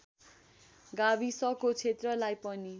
गाविसको क्षेत्रलाई पनि